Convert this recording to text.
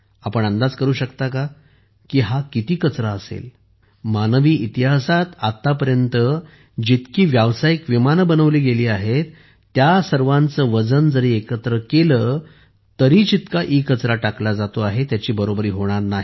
आपण अंदाज करू शकता का की हा म्हणजे किती कचरा असेल मानवी इतिहासात आत्तापर्यंत जितकी व्यावसायिक विमाने बनवली गेली आहेत त्या सर्वांचे वजन जरी एकत्र केले तरी जितका ई कचरा टाकला जातो आहे त्याची बरोबरी होणार नाही